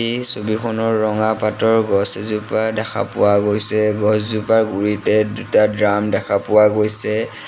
এই ছবিখনৰ ৰঙা পাতৰ গছ এজোপা দেখা পোৱা গৈছে গছ জোপাৰ গুৰিতে দুটা দ্ৰাম দেখা পোৱা গৈছে।